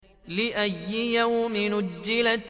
لِأَيِّ يَوْمٍ أُجِّلَتْ